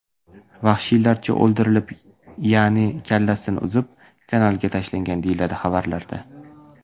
vahshiylarcha o‘ldirib, ya’ni kallasini uzib, kanalga tashlagan”, deyiladi xabarlarda.